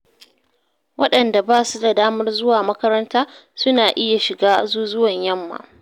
Waɗanda ba su da damar zuwa makaranta, suna iya shiga azuzuwan yamma.